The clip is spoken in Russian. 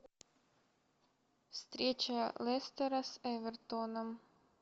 встреча лестера с эвертоном